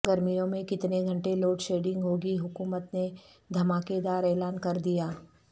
گرمیوں میں کتنے گھنٹے لوڈ شیڈنگ ہو گی حکومت نے دھماکے دار اعلان کر دیا